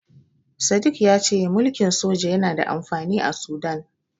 Sadik ya ce mulkin soja yana da amfani a Sudan.